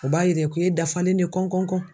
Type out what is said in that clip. O b'a yira k'e dafalen ne kɔnkɔnkɔn.